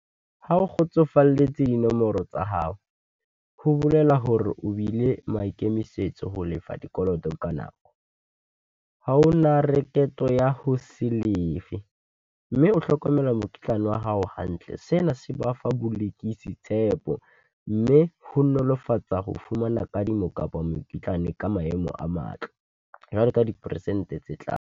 Ha o kgotsofalletse dinomoro tsa hao, ho bolela hore o bile maikemisetso ho lefa dikoloto ka nako. Ha ho na rakoto ya ho se lefe, mme o hlokomela mokitlane wa hao hantle. Sena se ba fa tshepo, mme ho nolofatsa ho fumana kadimo kapa mokitlane ka maemo a matle, jwalo ka diperesente tse tlang.